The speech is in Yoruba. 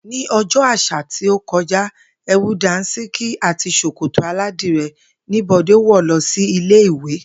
Ní o̩jó̩ à̩sà tí ó ko̩já, è̩wù dàńs̩íkí àti s̩òkòtò aládiré̩ ní Bò̩dé wò̩ lo̩ sí ilé ìwé